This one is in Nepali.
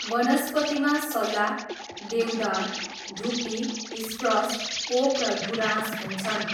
वनस्पतिमा सल्ला, देवदार, धुप्पी, स्प्रस, ओक र गुराँस हुन्छन्।